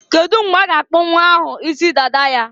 Kedu mgbe a ga-akpụ nnwa ahụ isi dada ya?